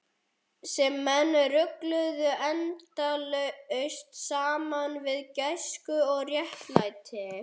Sem menn rugluðu endalaust saman við gæsku og réttlæti.